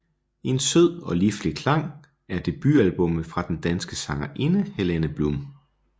En sød og liflig klang er debutalbummet fra den danske sangerinde Helene Blum